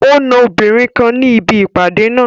O na obìnrin kan ni ibi ipade naa